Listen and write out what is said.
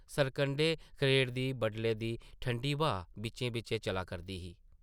सरकंढे खड़ेरदी बडले दी ठंडी ब्हा बिच्चेंं बिच्चेंं चला करदी ही ।